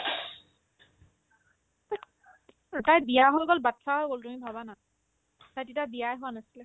তাইৰ তাইৰ বিয়াও হৈ গ'ল batches ও হৈ গ'ল তুমি ভাবা না তাই তেতিয়া বিয়াই হোৱা নাছিলে